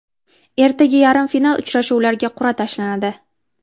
Ertaga yarim final uchrashuvlariga qur’a tashlanadi.